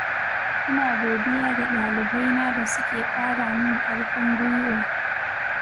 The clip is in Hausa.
ina godiya ga ɗalibaina da suke ƙara min ƙarfin guiwa